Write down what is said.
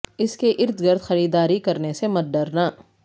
اس کے ارد گرد خریداری کرنے سے مت ڈرنا